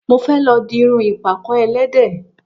Mo fẹ́ lọ di irun ìpàkọ́ ẹlẹ́dẹ̀